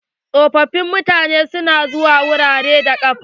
Tsofofin mutanen na zuwa wurare ne da ƙafa.